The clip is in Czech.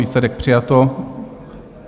Výsledek: přijato.